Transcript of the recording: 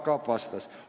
Jaak Aab vastas.